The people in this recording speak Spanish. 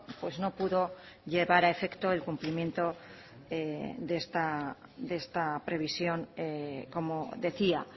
pues no pudo llevar a efecto el cumplimiento de esta previsión como decía